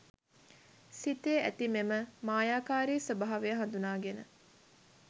සිතේ ඇති මෙම මායාකාරී ස්වභාවය හඳුනාගෙන